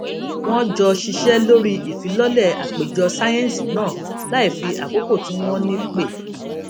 wón jọ ṣiṣé lórí ìfilọlẹ àpéjọ sáyẹǹsì náà láìfi àkókò tí wón ní pè